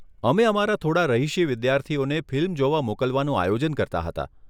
અમે અમારા થોડાં રહીશી વિદ્યાર્થીઓને ફિલ્મ જોવા મોકલવાનું આયોજન કરતા હતા.